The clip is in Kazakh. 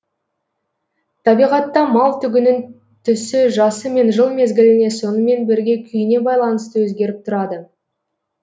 табиғатта мал түгінің түсі жасы мен жыл мезгіліне сонымен бірге күйіне байланысты өзгеріп тұрады